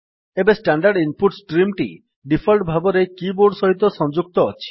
ଏବେ standard input stream ଟି default ଭାବରେ କିବୋର୍ଡ ସହିତ ସଂଯୁକ୍ତ ଅଛି